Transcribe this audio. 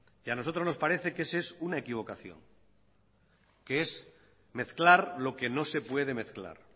y a nosotros nos parece que ese es una equivocación que es mezclar lo que no se puede mezclar